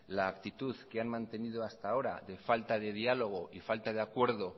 la actitud que han mantenido hasta ahora de falta de diálogo y falta de acuerdo